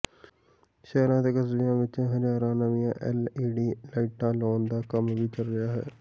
ਸ਼ਹਿਰਾਂ ਅਤੇ ਕਸਬਿਆਂ ਵਿੱਚ ਹਜ਼ਾਰਾਂ ਨਵੀਆਂ ਐਲਈਡੀ ਲਾਈਟਾਂ ਲਾਉਣ ਦਾ ਕੰਮ ਵੀ ਚੱਲ ਰਿਹਾ ਹੈ